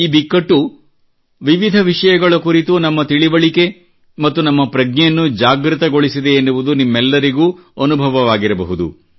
ಈ ಬಿಕ್ಕಟ್ಟು ವಿವಿಧ ವಿಷಯಗಳ ಕುರಿತು ನಮ್ಮ ತಿಳಿವಳಿಕೆ ಮತ್ತು ನಮ್ಮ ಪ್ರಜ್ಞೆಯನ್ನು ಜಾಗೃತಗೊಳಿಸಿದೆ ಎನ್ನುವುದು ನಿಮ್ಮೆಲ್ಲರಿಗೂ ಅನುಭವವಾಗಿರಬಹುದು